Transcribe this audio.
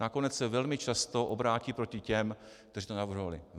Nakonec se velmi často obrátí proti těm, kteří to navrhovali.